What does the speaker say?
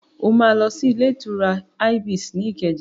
O máa lọ sí ilé-ìtura Ibis ní Ìkẹjà.